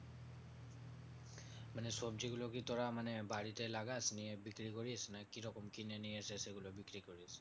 মানে সবজিগুলো কি তোরা মানে বাড়িতে লাগাস নিয়ে বিক্রি করিস না কিরকম? কিনে নিয়ে এসে সেগুলো বিক্রি করিস?